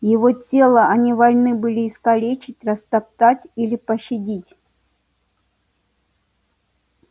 его тело они вольны были искалечить растоптать или пощадить